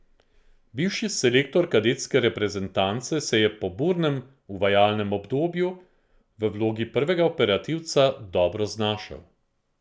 Bivši selektor kadetske reprezentance se je po burnem uvajalnem obdobju v vlogi prvega operativca dobro znašel.